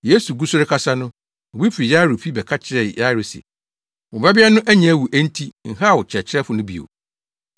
Yesu gu so rekasa no, obi fi Yairo fi bɛka kyerɛɛ Yairo se, “Wo babea no anya awu enti nhaw Kyerɛkyerɛfo no bio.”